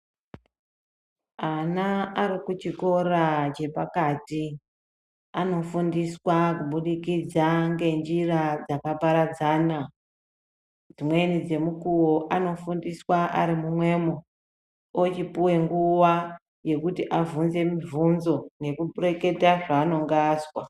Ana arikuchikora chepakati anofundiswa kubudikidza ngenjira dzakaparadzana Dzimwnei dzemukuwo anofundiswa Ari pamwepo ochipuwa nguwa yekuti achivhunza muvhunzo Nekureketa zvanenge azwa.